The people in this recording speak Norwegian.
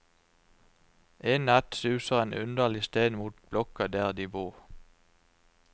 En natt suser en underlig stein mot blokka der de bor.